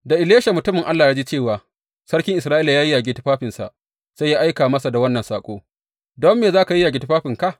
Da Elisha mutumin Allah ya ji cewa sarkin Isra’ila ya yayyage tufafinsa, sai ya aika masa da wannan saƙo, Don me za ka yayyage tufafinka?